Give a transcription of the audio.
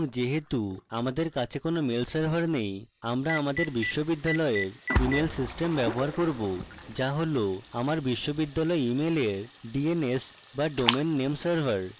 dns যেহেতু আমার কাছে কোনো mail server now আমি আমার বিশ্ববিদ্যালয়ের email system ব্যবহার করব যা হল আমার বিশ্ববিদ্যালয় ইমেলের dns বা domain name server